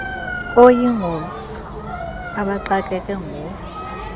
oyingozi abaxakeke nguwo